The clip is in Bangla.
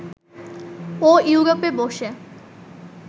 ও ইউরোপে বসে